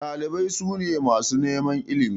Ɗalibai su ne masu neman ilimi.